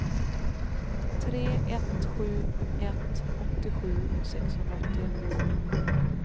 tre ett sju ett åttiosju sexhundraåttioett